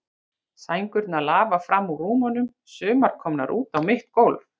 Sængurnar lafa fram úr rúmunum, sumar komnar út á mitt gólf.